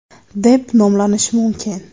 deb nomlanishi mumkin.